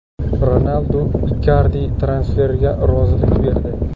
Ronaldu Ikardi transferiga rozilik berdi.